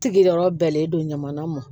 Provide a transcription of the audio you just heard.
Sigiyɔrɔ bɛnnen don ɲamana mɔ